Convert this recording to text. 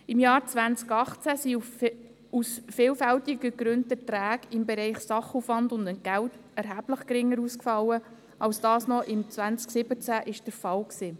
Im Jahr 2018 sind die Erträge im Bereich Sachaufwand und Entgelte aus vielfältigen Gründen erheblich geringer ausgefallen als es noch im Jahr 2017 der Fall war.